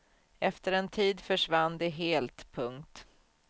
Efter en tid försvann de helt. punkt